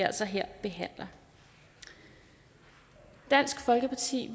altså her behandler i dansk folkeparti